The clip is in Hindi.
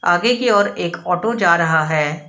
आगे की ओर एक ऑटो जा रहा है।